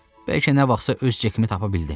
Bəlkə nə vaxtsa öz Cekimi tapa bildim.